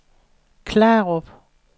Klarup